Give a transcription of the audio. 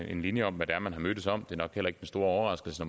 en linje om hvad man har mødtes om det er nok heller ikke den store overraskelse